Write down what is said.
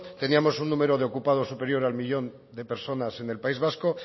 teníamos un número de ocupados superior al millón de personas en el país vasco